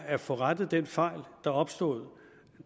at få rettet den fejl der opstod